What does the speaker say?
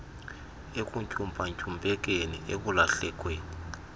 ekuntyumpa ntyumpekeni ekulahlekelweni